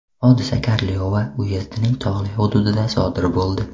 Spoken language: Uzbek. Hodisa Karliova uyezdining tog‘li hududida sodir bo‘ldi.